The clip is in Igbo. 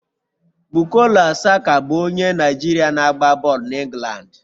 Bukola Saka bụ onye Naijiria na-agba bọọlụ na England